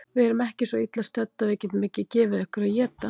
Við erum ekki svo illa stödd að við getum ekki gefið ykkur að éta